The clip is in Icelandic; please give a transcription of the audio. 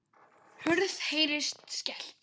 Hurð heyrist skellt.